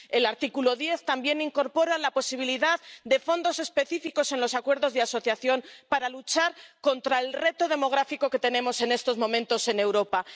El artículo 10 también incorpora la posibilidad de fondos específicos en los acuerdos de asociación para luchar contra el reto demográfico que tenemos en estos momentos en Europa.